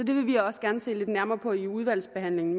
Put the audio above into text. det vil vi også gerne se lidt nærmere på i udvalgsbehandlingen